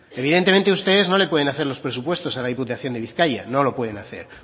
evidentemente ustedes no le pueden hacer en los presupuestos en la diputación de bizkaia no lo pueden hacer